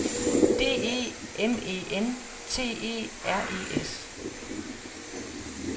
D E M E N T E R E S